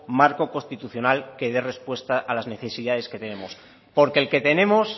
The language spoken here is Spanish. marco constitucional que dé respuesta a las necesidades que tenemos porque el que tenemos